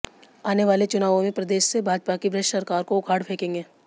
आने वाले चुनावों में प्रदेश से भाजपा की भ्रष्ट सरकार को उखाड़ फेंकेंगे